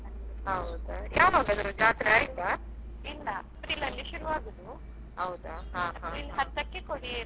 ಯಾವಾಗ್ ಅದ್ರ ಜಾತ್ರೆ ಆಯ್ತಾ?